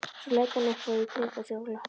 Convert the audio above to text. Svo leit hann upp og í kringum sig og glotti.